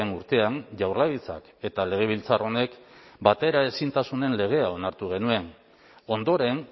urtean jaurlaritzak eta legebiltzar honek bateraezintasunen legea onartu genuen ondoren